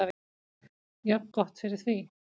Jafngott fyrir því.